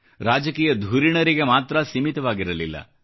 ರಾಜಕೀಯ ಧುರೀಣರಿಗೆ ಮಾತ್ರ ಸೀಮಿತವಾಗಿರಲಿಲ್ಲ